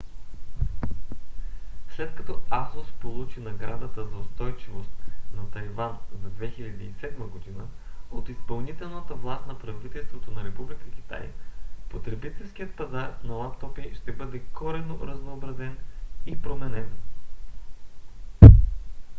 след като asus получи наградата за устойчивост на тайван за 2007 г. от изпълнителната власт на правителството на република китай потребителският пазар на лаптопи ще бъде коренно разнообразен и променен